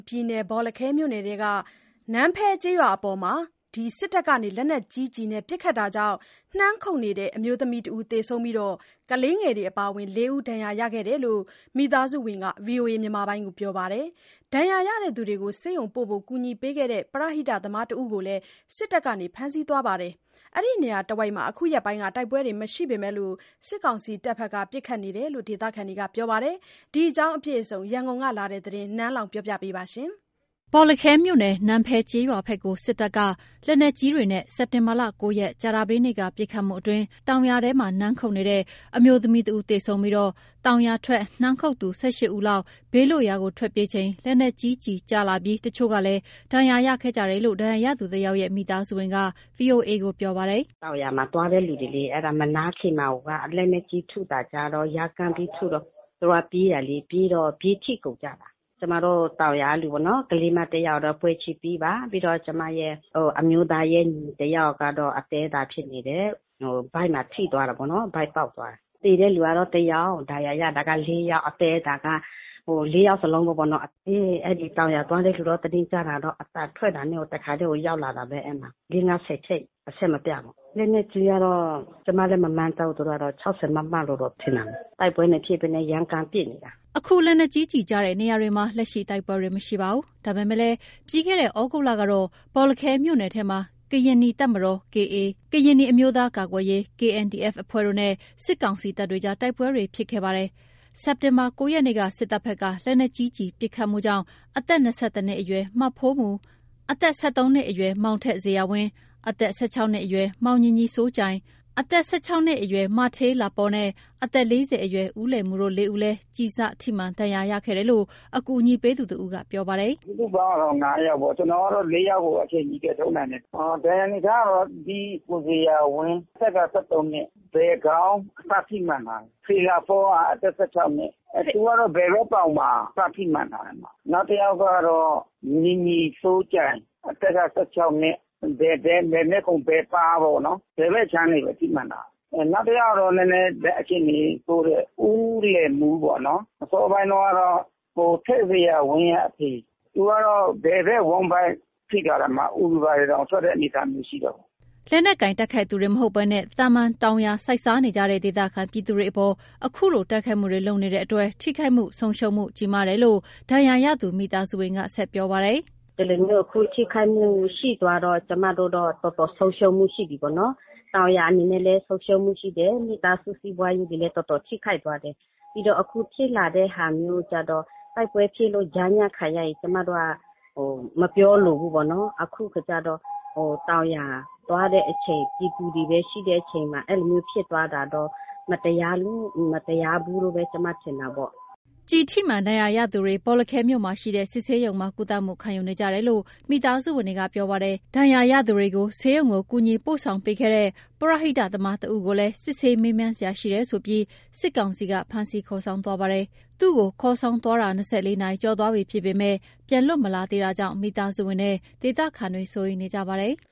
ပြည်နယ် ဘောလခဲမြို့နယ်ထဲက နန်းဖဲကျေးရွာအပေါ် စစ်တပ်က လက်နက်ကြီးနဲ့ ပစ်ခတ်မှုကြောင့် နှမ်းခုတ်နေတဲ့ အမျိုးသမီးတဦး သေဆုံးပြီး ကလေးငယ်တွေအပါအဝင် ၄ ဦးဒဏ်ရာရခဲ့တယ်လို့ မိသားစုဝင်က ဗွီအိုအေကို ပြောပါတယ်။ ဒဏ်ရာရသူတွေကို ဆေးရုံပို့ဖို့ ကူညီခဲ့တဲ့ ပရဟိသမားတဦးကိုလည်း စစ်တပ်က ဖမ်းဆီးသွားပါတယ်။ အဲဒီနေရာတဝိုက် အခုရက်ပိုင်း တိုက်ပွဲတွေမရှိပေမဲ့ စစ်ကောင်စီတပ်တွေဘက်က ပစ်ခတ်နေတယ်လို့ ဒေသခံတွေကပြောပါတယ်။ ဒီအကြောင်းအပြည့်အစုံ ရန်ကုန်ကလာတဲ့ သတင်းကို နန်းလောင်ဝ်က ပြောပြပါမယ်။ ဘောလခဲမြို့နယ် နန်းဖဲကျေးရွာဘက်ကို စစ်တပ်က လက်နက်ကြီးတွေနဲ့ စက်တင်ဘာ ၉ ရက် ကြာသပတေးနေ့က ပစ်ခတ်မှုအတွင်း တောင်ယာထဲ နှမ်းခုတ်နေတဲ့ အမျိုးသမီးတဦး သေဆုံးပြီး တောင်ယာထွက် နှမ်းခုတ်သူ ၁၈ ဦးလောက် ဘေးလွတ်ရာသို့ ပြေးထွက်ချိန် လက်နက်ကြီးကျည် ကျလာပြီး တချို့လည်း ဒဏ်ရာရခဲ့ကြတယ်လို့ ဒဏ်ရာရသူတယောက်ရဲ့ မိသားစုဝင်က ဗွီအိုအေကို ပြောပါတယ်။ “တောင်ယာမှာ သွားတဲ့လူတွေလေ၊ အဲ့ဒါ မနားခင်မှာကိုက လက်နက်ကြီးထုတာကျတော့ ရမ်းသမ်းပြီးထုတော့ သူတို့က ပြေးတာလေ၊ ပြေးထွက်ကုန်ကြတာ၊ ကျမတို့တောင်ယာကလူတွေပေါ့နော် ကလေးမတယောက်တော့ ပွဲချင်းပြီးပါ၊ ပြီးတော့ ကျမရဲ့ အမျိုးသားရဲ့ ညီတယောက်ကတော့ အသည်းအသန်းဖြစ်နေတယ် ဗိုက်မှာ ထိသွားတာပေါ့နော် ဗိုက်ပေါက်သွားတာ သေတဲ့ လူကတော့ တယောက် ဒဏ်ရာရတဲ့သူက ၄ ယောက် အသည်းအသန်းက ၄ ယောက်စလုံးပဲပေါ့နော်၊ အဲ့ဒီတောင်ယာသွားတယ်ဆိုတော့ သတင်းကြားတာတော့ အသံထွက်တာနဲ့ကို တစ်ခါတည်းကို ရောက်လာတာပဲ အဲ့မှာ ၄ ၊ ၅ ၊ ၁၀ ချက် အဆက်မပြတ်ပေါ့ လက်နက်ကြီးကတော့ ကျမလည်း မမှန်းတတ်ဘူး သူကတော့ ၆၀ မမ လို့ထင်တာပဲ၊ တိုက်ပွဲမဖြစ်ဘဲ ရမ်းသမ်းပစ်နေတာ။” အခုလက်နက်ကြီးကျည်ကျတဲ့ နေရာတွေမှာ လက်ရှိ တိုက်ပွဲတွေမရှိပါဘူး။ ဒါပေမဲ့ ပြီးခဲ့တဲ့ သြဂုတ်လကတော့ ဘောလခဲမြို့နယ်ထဲမှာ ကရင်နီတပ်မတော် KA၊ ကရင်နီအမျိုးသားကာကွယ်ရေး KNDF အဖွဲ့တို့နဲ့ စစ်ကောင်စီတပ်တွေကြား တိုက်ပွဲတွေဖြစ်ခဲ့ပါတယ်။ စက်တင်ဘာ ၉ ရက်နေ့က စစ်တပ်ဘက်က လက်နက်ကြီးကျည်ပစ်ခတ်မှုကြောင့် အသက် ၂၁ နှစ်အရွယ် မဖိုးမူ၊ အသက် ၁၃ နှစ်အရွယ် မောင်ထက်ဇေယျာဝင်း၊ အသက် ၁၆ နှစ်အရွယ် မောင်ညီညီစိုးကြိုင်၊ အသက် ၁၆ နှစ်အရွယ် မဌေးလာပေါနဲ့ အသက် ၄၀ အရွယ် ဦးလယ်မူတို့ ၄ ဦးလည်း ကျည်စထိမှန် ဒဏ်ရာရခဲ့တယ်လို့ အကူအညီပေးသူတဦးက ပြောပါတယ်။ "စုစုပေါင်းကတော့ ၅ ယောက်ပေ့ါ၊ ကျနော်ကတော့ ၄ ယောက်ကို အချိန်မီ ကယ်ထုတ်နိုင်တယ်၊ ဒဏ်ရာအနေအထားကတော့ ဒီ ကိုဇေယျာဝင်း အသက်က ၁၃ နှစ် ဘယ်ခေါင်း အစထိမှန်ထားတယ်၊ ဌေးလာပေါက အသက် ၁၆ နှစ် သူကတော့ ဘယ်ဘက်ပေါင်မှာ အစထိမှန်ထားတယ်၊ နောက်တယောက်ကတော့ ညီညီစိုးကြိုင် အသက်က ၁၆ နှစ် ဘယ်ဘက် ဘယ်မျက်ခုံး ဘယ်ပါးပေါ့နော် ဘယ်ဘက်အခြမ်းတွေပဲ ထိမှန်ထားတယ်၊ နောက်တယောက်ကတော့ နည်းနည်းအခြေအနေဆိုးတဲ့ ဦးလယ်မူပေါ့နော် အစောပိုင်းတုန်းကတော့ ကိုထက်ဇေယျာဝင်းရဲ့အဖေ သူကတော့ ဘယ်ဘက်ဝမ်းဗိုက်ထိထားတယ် အူတွေဘာတွေတောင်ထွက်တဲ့ အနေအထားမျိုးရှိတာပေါ့။” လက်နက်ကိုင် တိုက်ခိုက်နေသူတွေမဟုတ်ဘဲ သာမန် တောင်ယာစိုက်စားနေကြတဲ့ ဒေသခံပြည်သူတွေအပေါ် ခုလို တိုက်ခိုက်မှုတွေ လုပ်နေတဲ့အတွက် ထိခိုက်ဆုံးရုံးမှုကြီးမားတယ်လို့ ဒဏ်ရာရသူ မိသားစုဝင်က ဆက်ပြောပါတယ်။ “ဒီလိုမျိုး အခုထိခိုက်မှုရှိသွားတော့ ကျမတို့တော့ တော်တော်ဆုံးရှုံးမှုရှိပြီပေါ့နော် တောင်ယာအနေနဲ့လည်း ဆုံးရှုံးမှုရှိတယ် မိသားစုစီးပွားရေးတွေလည်း တော်တော်ထိခိုက်သွားတယ်၊ ပြီးတော့ အခုဖြစ်လာတဲ့ဟာမျိုးကျတော့ တိုက်ပွဲဖြစ်လို့ ကြားညပ်ခံရရင် ကျမတို့က မပြောလိုဘူးပေါ့နော် အခုကကျတော့ တောင်ယာသွားတဲ့အချိန် ပြည်သူတွေပဲရှိတဲ့အချိန်မှာ အဲ့လိုမျိုးဖြစ်သွားတာတော့ မတရားလို့ မတရားဘူးလို့ပဲ ကျမထင်တာပေါ့။” ကျည်ထိမှန် ဒဏ်ရာရရှိသူတွေ ဘောလခဲမြို့မှာရှိတဲ့ စစ်ဆေးရုံမှာ ကုသမှု ခံယူနေကြတယ်လို့ မိသားစုဝင်တွေက ပြောပါတယ်။ ဒဏ်ရာရသူတွေကို ဆေးရုံကို ကူညီပို့ဆောင်ခဲ့တဲ့ ပရဟိတသမားတဦးကိုလည်း စစ်ဆေးမေးမြန်စရာရှိတယ်ဆိုပြီး စစ်ကောင်စီက ဖမ်းဆီးခေါ်ဆောင်သွားပါတယ်။ သူ့ကို ခေါ်ဆောင်သွားတာ ၂၄ နာရီကျော်သွားပြီဖြစ်ပေမယ့် ပြန် လွတ်မလာသေးတာကြောင့် မိသားစုဝင်နဲ့ ဒေသခံတွေက စိုးရိမ်နေကြပါတယ်။